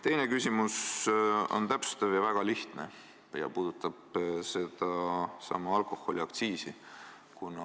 Teine küsimus on täpsustav ja väga lihtne ja puudutab alkoholiaktsiisi.